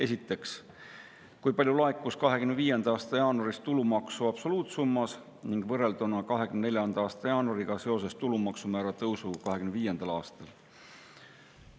Esiteks, kui palju laekus 2025. aasta jaanuaris tulumaksu absoluutsummas ning võrrelduna 2024. aasta jaanuariga seoses tulumaksu määra tõusuga 2025. aastal?